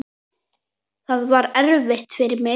Það var erfitt fyrir mig.